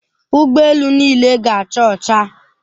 Ụgbọ elu niile ga-acha ọcha.